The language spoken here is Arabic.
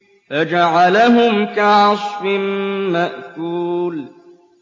فَجَعَلَهُمْ كَعَصْفٍ مَّأْكُولٍ